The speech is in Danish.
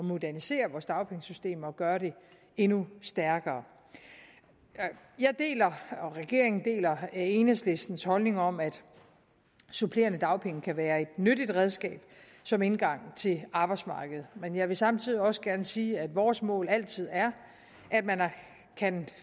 modernisere vores dagpengesystem og gøre det endnu stærkere jeg deler og regeringen deler enhedslistens holdning om at supplerende dagpenge kan være et nyttigt redskab som indgang til arbejdsmarkedet men jeg vil samtidig også gerne sige at vores mål altid er at man kan